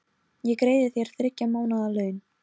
Ég greiði þér þriggja mánaða laun.